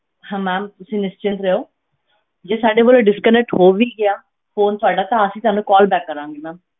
ਹਾਂ ma'am ਤੁਸੀਂ ਨਿਸ਼ਚਿੰਤ ਰਹੋ ਜੇ ਸਾਡੇ ਵੱਲੋਂ disconnect ਹੋ ਵੀ ਗਿਆ phone ਸਾਡਾ, ਤਾਂ ਅਸੀਂ ਤੁਹਾਨੂੰ call back ਕਰਾਂਗੇ ma'am